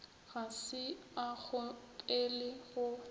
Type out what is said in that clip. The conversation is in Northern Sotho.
ga se a kgopele go